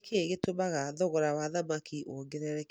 Nĩkĩ gĩtũmaga thogora wa thamaki wongerereke?